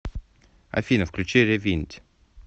афина включи ревинд